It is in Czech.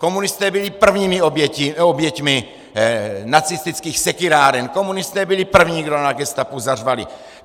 Komunisté byli prvními oběťmi nacistických sekyráren, komunisté byli první, kdo na gestapu zařvali!